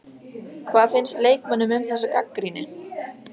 Hvað fannst leikmönnum um þessa gagnrýni?